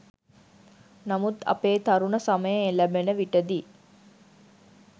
නමුත් අපේ තරුණ සමය එළැඹෙන විටදී